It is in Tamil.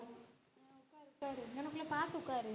இங்கனக்குள்ள பாத்து உக்காரு